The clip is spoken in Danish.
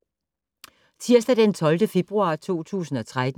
Tirsdag d. 12. februar 2013